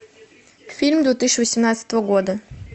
фильм две тысячи восемнадцатого года